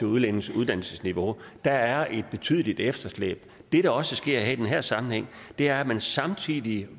udlændinges uddannelsesniveau der er et betydeligt efterslæb det der også sker i den her sammenhæng er at man samtidig